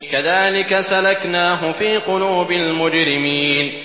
كَذَٰلِكَ سَلَكْنَاهُ فِي قُلُوبِ الْمُجْرِمِينَ